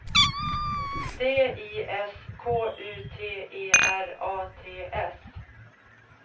D I S K U T E R A T S